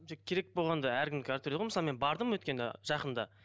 керек болғанда әркімдікі әртүрлі ғой мысалы мен бардым өткенде жақында